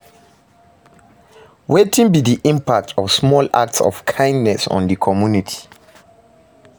Wetin be di impact of small acts of kindness on di community?